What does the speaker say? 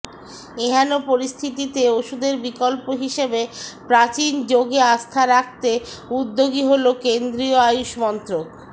এহেন পরিস্থিতিতে ওষুধের বিকল্প হিসেবে প্রাচীন যোগে আস্থা রাখতে উদ্যোগী হল কেন্দ্রীয় আয়ুষ মন্ত্রক